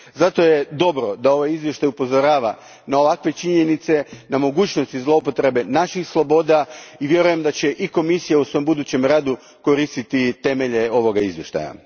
Zato je dobro da ovaj izvještaj upozorava na ovakve činjenice, na mogućnosti zloupotrebe naših sloboda i vjerujem da će i Komisija u svom budućem radu koristiti temelje ovoga izvještaja.